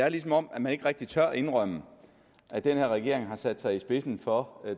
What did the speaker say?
er som om man ikke rigtig tør indrømme at den her regering har sat sig i spidsen for